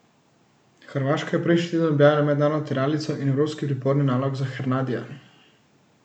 Hrvaška je prejšnji teden objavila mednarodno tiralico in evropski priporni nalog za Hernadija.